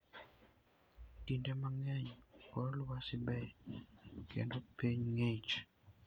Kinde mang'eny, kor lwasi ber kendo piny ng'ich.